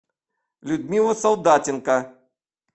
людмила солдатенко